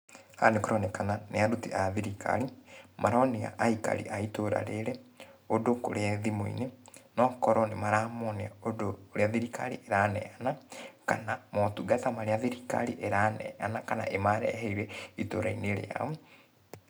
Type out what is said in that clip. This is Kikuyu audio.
Haha nĩkũronekana nĩ aruti a thirikari, maronia aikari a itũra rĩrĩ, ũndũ kũrĩa thimũ-inĩ. No okorũo nĩmaramonia ũndũ urĩa thirikari ĩraneyana, kana motungata marĩa thirikari ĩraneana kana ĩmareheire itũra-inĩ rĩao.